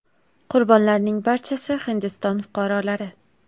Qurbonlarning barchasi Hindiston fuqarolari.